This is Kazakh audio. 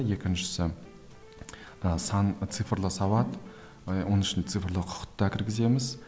екіншісі ы сан цифрлы сауат оның ішіне цифрлы құқық та кіргіземіз